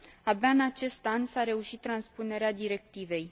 Abia în acest an s a reușit transpunerea directivei.